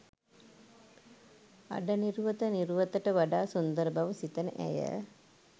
අඩ නිරුවත නිරුවතට වඩා සුන්දර බව සිතන ඇය